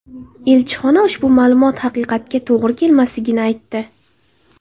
Elchixona ushbu ma’lumot haqiqatga to‘g‘ri kelmasligini aytdi.